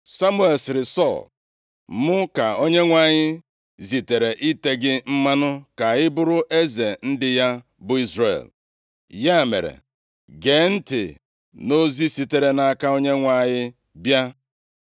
Samuel sịrị Sọl, “Mụ ka Onyenwe anyị zitere ite gị mmanụ ka ị bụrụ eze ndị ya, bụ Izrel. Ya mere, gee ntị nʼozi sitere nʼaka Onyenwe anyị bịa.